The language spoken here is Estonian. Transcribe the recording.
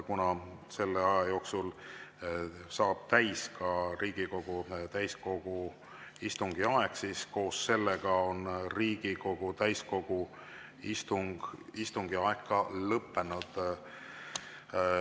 Kuna selle aja jooksul saab täis ka Riigikogu täiskogu istungi aeg, siis on Riigikogu täiskogu istung lõppenud.